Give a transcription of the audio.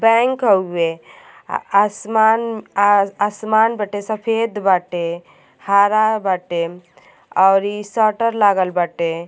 Bank हउए आ आसमान आ आसमान बाटे सफेद बाटे हरा बाटे अउरी शटर लागल बाटे।